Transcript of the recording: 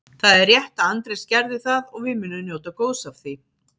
Það er rétt að Andrés gerði það og við munum njóta góðs af því.